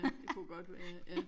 Ja det kunne godt være ja